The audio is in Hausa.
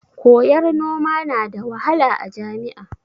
Koyar noma na da wahala a jami'a?